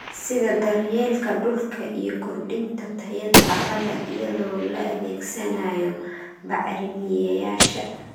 sida daryeelka dhulka iyo kordhinta tayada carrada iyadoo la adeegsanayo bacrimiyeyaasha.